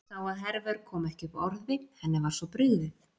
Sá að Hervör kom ekki upp orði, henni var svo brugðið.